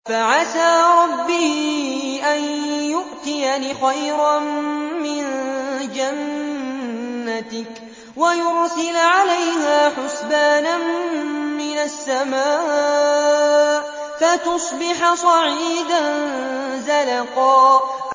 فَعَسَىٰ رَبِّي أَن يُؤْتِيَنِ خَيْرًا مِّن جَنَّتِكَ وَيُرْسِلَ عَلَيْهَا حُسْبَانًا مِّنَ السَّمَاءِ فَتُصْبِحَ صَعِيدًا زَلَقًا